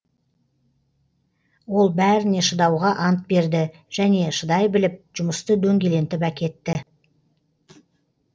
ол бәріне шыдауға ант берді және шыдай біліп жұмысты дөңгелентіп әкетті